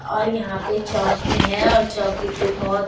और यहाँ पे चौकी है और चौकी पे बहोत --